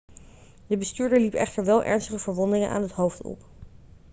de bestuurder liep echter wel ernstige verwondingen aan het hoofd op